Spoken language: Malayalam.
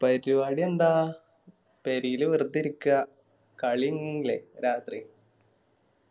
പരിപാടി എന്താ പെരേല് വെർതെ ഇരിക്ക കലി രാത്രി